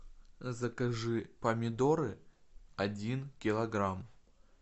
закажи помидоры один килограмм